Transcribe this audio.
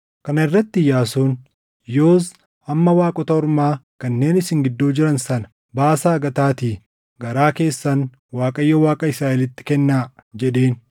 Kana irratti Iyyaasuun, “Yoos amma waaqota ormaa kanneen isin gidduu jiran sana baasaa gataatii garaa keessan Waaqayyo Waaqa Israaʼelitti kennaa” jedheen.